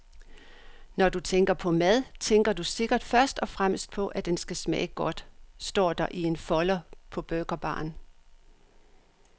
Når du tænker på mad, tænker du sikkert først og fremmest på, at den skal smage godt, står der i en folder på burgerbaren.